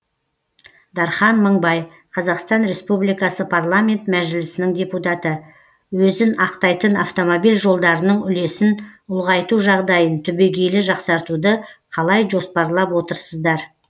дархан мыңбай қазақстан республикасы парламенті мәжілісінің депутаты өзін ақтайтын автомобиль жолдарының үлесін ұлғайту жағдайын түбегейлі жақсартуды қалай жоспарлап отырсыздар